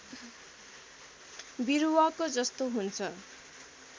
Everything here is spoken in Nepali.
विरुवाको जस्तो हुन्छ